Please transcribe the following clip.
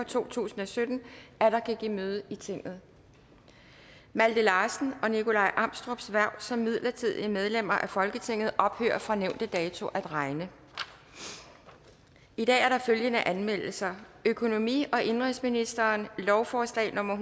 to tusind og sytten atter kan give møde i tinget malte larsens og nikolaj amstrups hverv som midlertidige medlemmer af folketinget ophører fra nævnte dato at regne i dag er der følgende anmeldelser økonomi og indenrigsministeren lovforslag nummer